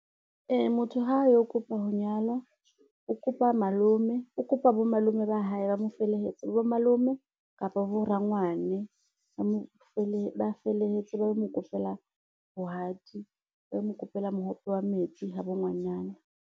Motho ha a yo kopa ho nyalwa, o kopa bo malome ba hae, ba mo felehetse bo malome kapa bo rangwane, ba felehetse ba lo mokopela bohadi, ba lo mokopela mohope wa metsi habo ngwanana.